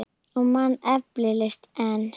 Og man eflaust enn.